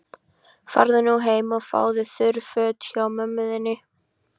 Farðu nú heim og fáðu þurr föt hjá mömmu þinni.